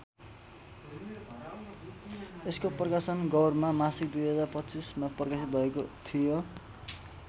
यसको प्रकाशन गौरमा मासिक२०२५ मा प्रकाशित भएको थियो।